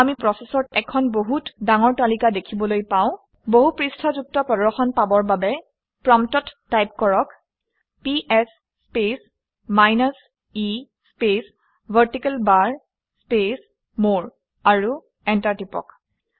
আমি প্ৰচেচৰ এখন বহুত ডাঙৰ তালিকা দেখিবলৈ পাও। বহুপৃষ্ঠাযুক্ত প্ৰদৰ্শন পাবৰ বা প্ৰম্পটত টাইপ কৰক - PS space minus e space vertical bar space more আৰু এণ্টাৰ টিপি দিয়ক